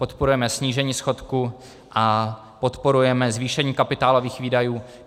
Podporujeme snížení schodku a podporujeme zvýšení kapitálových výdajů.